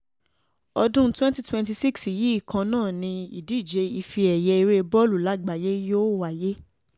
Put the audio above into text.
ọdún twenty twenty-six yìí kan náà ni ìdíje ife ẹ̀yẹ ère bọ́ọ̀lù lágbàáyé yóò wáyé